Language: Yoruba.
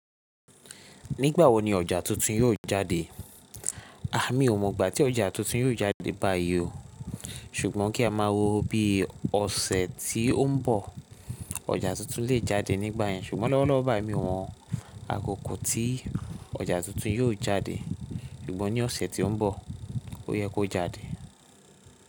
Nígbà wo ni ọjà tuntun yóò jáde? A, mí ò mọ ìgbà tí ọjà tuntun yóò jáde báyìí o. Ṣùgbọ́n kí a máa wo bí ọ̀sẹ̀ tí ó ń bọ̀. Ọjà tuntun lè jáde nígbà yẹn. Ṣùgbọ́n lọ́wọ́lọ́wọ́ báyìí, mi o mo ákoko tí ọjà tuntun yóò jáde. Ṣùgbọ́n ní ọ̀sẹ̀ tí ó ń bọ̀ ó yẹ kó jáde.